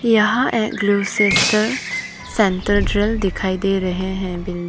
यहा एगलू सिस्टर सेंट्रल जेल दिखाई दे रहे हैं बिल्डि --